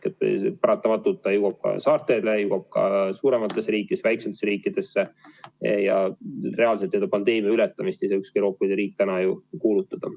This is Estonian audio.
Paratamatult see jõuab ka saartele, jõuab suurematest riikidest väiksematesse riikidesse ja reaalselt pandeemia ületamist ei saa ükski Euroopa riik ju täna kuulutada.